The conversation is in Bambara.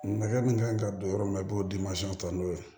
Nɛgɛ min kan ka don yɔrɔ min na i b'o ta n'o ye